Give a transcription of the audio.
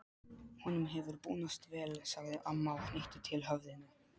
Honum hefur búnast vel, sagði amma og hnykkti til höfðinu.